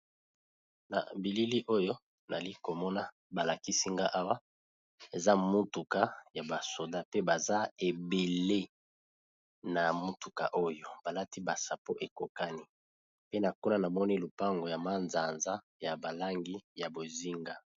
na bilili oyo nali komona balakisinga awa eza motuka ya basoda pe baza ebele na motuka oyo balati basa po ekokani pe na kona namoni lupango ya manzanza ya balangi ya bozinga